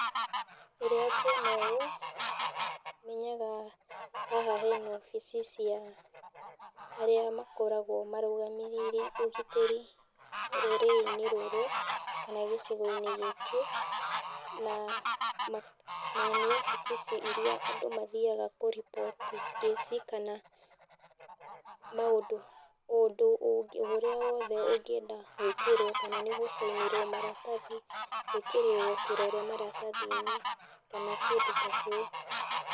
Rĩrĩa ngwona ũũ menyaga haha hena obici cia arĩa makoragwo marũgamĩrĩire ũgitĩri rũrĩrĩ-inĩ rũrũ kana gĩcigo-inĩ gĩkĩ, na nĩ wabici iria andũ mathiaga kũripoti kĩsi kana maũndũ, ũndũ ũrĩa o wothe ũngĩenda gwĩkĩrwo kana nĩ gũ sign nĩrwo maratathi, gwĩkĩrĩrwo kĩrore maratathi-inĩ kana kĩndũ ta kĩu.